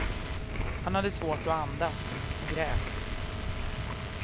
Han hade svårt att andas och grät.